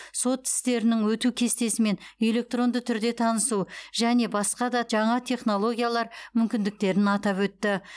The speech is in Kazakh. сот істерінің өту кестесімен электронды түрде танысу және басқа да жаңа технологиялар мүмкіндіктерін атап өтті